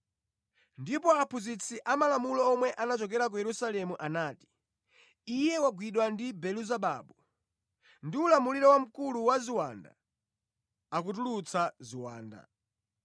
Ndipo aphunzitsi amalamulo omwe anachokera ku Yerusalemu anati, “Iye wagwidwa ndi Belezebabu! Ndi ulamuliro wa mkulu wa ziwanda akutulutsa ziwanda.”